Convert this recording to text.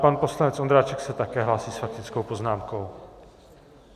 Pan poslanec Ondráček se také hlásí s faktickou poznámkou.